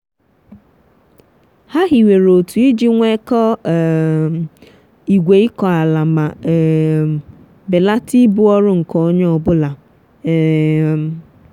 ha hiwere otu iji nwekọọ um igwe ịkọ ala ma um belata ibu ọrụ nke onye ọ bụla. um